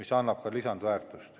See annab ka lisandväärtust.